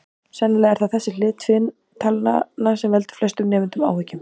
Sennilega er það þessi hlið tvinntalnanna sem veldur flestum nemendum áhyggjum.